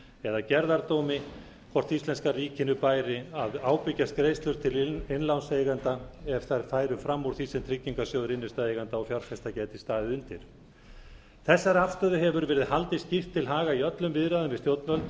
eða gerðardómi hvort íslenska ríkinu bæri að ábyrgjast greiðslur til innlánseigenda ef þær færu fram úr því sem tryggingarsjóður innstæðueigenda og fjárfesta gæti staðið undir þessari afstöðu hefur verið haldið skýrt til haga í öllum viðræðum við stjórnvöld